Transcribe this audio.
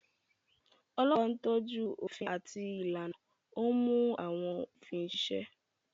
Ọlọ́pàá ń tọ́jú òfin àti ìlànà, ó ń mú àwọn òfin ṣiṣẹ́.